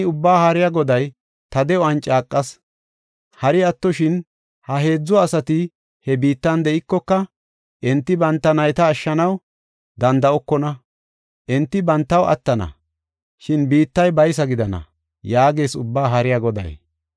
Taani Ubbaa Haariya Goday ta de7uwan caaqas. Hari attoshin, ha heedzu asati he biittan de7iyakoka, enti banta nayta ashshanaw danda7okona. Enti bantaw attana; shin biittay baysa gidana” yaagees Ubbaa Haariya Goday.